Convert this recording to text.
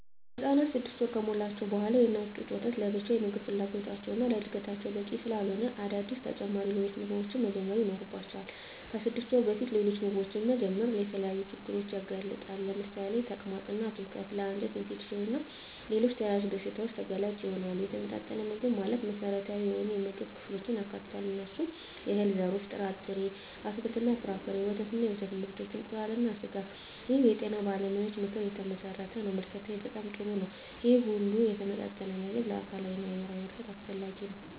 ህፃናት 6 ወር ከሞላቸው በዋላ የእናት ጡት ወተት ለብቻው የምግብ ፍላጎታቸውን እና ለዕድገታቸው በቂ ስላለሆነ አዳዲስ ተጨማሪ ሌሎች ምግቦችን መጀመር ይኖርባቸዋል። ከ6 ወር በፊት ሌሎች ምግቦችን መጀመር የተለያዩ ችግሮችን ያመጣል ለምሳሌ ተቅማጥ እና ትውከት ለ አንጀት ኢንፌክሽን እና ሌሎች ተያያዝ በሺታዎች ተጋላጭ ይሆናሉ። የተመጣጠነ ምግብ ማለት መሰረታዊ የሆኑ የምግብ ክፍሎችን ያካትታል። እነሱም፦ የእህል ዘርሮች እና ጥርጣሬ፣ አትክልት እና ፍራፍሬ፣ ወተት እና የወተት ምርቶች፣ እንቁላል እና ስጋ ይህ የጤና ባለሙያዎች ምክር የተመሠረተ ነው። ምልከታዬ በጣም ጥሩ ነው ይህ ሁሉ የተመጣጠነ ምግብ ለአካላዊ እና ለአይምራዊ እድገት አስፈላጊ ነው።